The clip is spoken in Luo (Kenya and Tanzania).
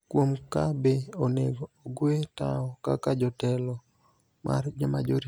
kuom ka be onego ogwe tao kaka jatelo mar Majority.